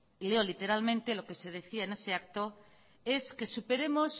y leo literalmente lo que se decía en ese acto es que superemos